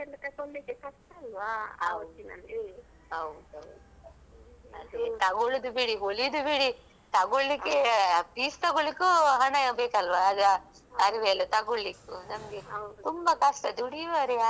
ಹೌದೌದು ಅದೇ ತೊಗೊಳುದು ಬಿಡಿ ಹೊಲಿದು ಬಿಡಿ ತೊಗೊಳ್ಳಿಕ್ಕೆ ಅ piece ತೊಗೊಳ್ಳಿಕ್ಕೂ ಹಣ ಬೇಕಲ್ವಾ ಅದ್ ಅರಿವೆ ಎಲ್ಲ ತೊಗೊಳ್ಳಿಕ್ಕೂ ನಮ್ಗೆ ಕಷ್ಟ ದುಡಿಯುವವರ್ ಯಾರಿದ್ದಾರೆ ಹಾಗೆ ಅದೂ ಹೇಳಿಕ್ಕೆ ಹೇಳ್ತಾರೆ.